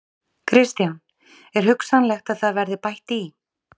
Kristján: Er hugsanlegt að það verði bætt í?